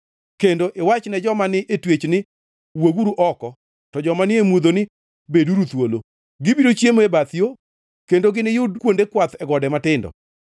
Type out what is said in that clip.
kendo iwachne joma ni e twech ni, ‘Wuoguru oko,’ to joma ni e mudho ni, ‘Beduru thuolo!’ “Gibiro chiemo e bath yo kendo giniyud kuonde kwath e gode matindo.